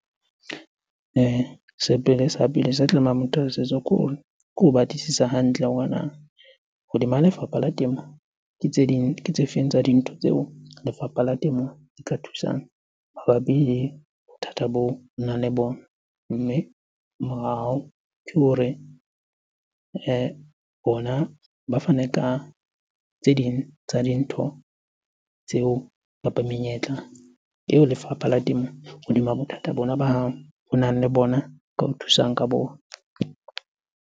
Sa pele sa tlamehang motho eo a se etse ke ho batlisisa hantle hore na hodima lefapha la temo, ke tse ding, ke tse feng tsa dintho tseo lefapha la temo e ka thusang mabapi le bothata boo o nang le bona? Mme ke hore bona ba fane ka tse ding tsa dintho tseo kapa menyetla eo lefapha la temo hodima bothata bona ba hao onang le bona, ka o thusang ka bona.